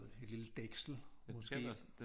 Et lille dæksel måske